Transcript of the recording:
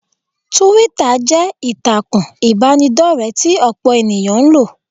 Túwítà jẹ́ ìtàkùn ìbánidọ́rẹ̀ẹ́ tí ọ̀pọ̀ ènìyàn ń lò